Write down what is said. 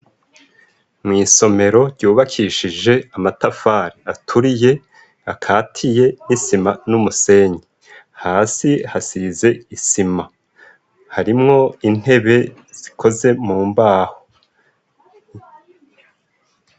Mw'isomero ryubakishije amatafari aturiye, akatiye n'isima n'umusenyi. Hasi hasize isima, harimwo intebe zikoze mu mbaho.